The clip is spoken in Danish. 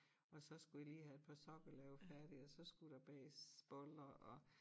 Og så skulle jeg lige have et par sokker lavet færdig og så skulle der bages boller og